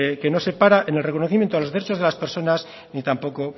que no separa en el reconocimiento a los derechos de las personas y tampoco